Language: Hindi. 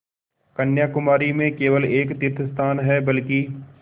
कन्याकुमारी में केवल एक तीर्थस्थान है बल्कि